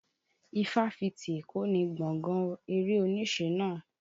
Ifáfitì Èkó ni gbọ̀gán eré-oníṣe náà.